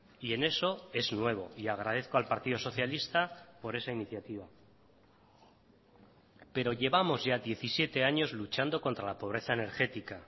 y en eso es nuevo y agradezco al partido socialista por esa iniciativa pero llevamos ya diecisiete años luchando contra la pobreza energética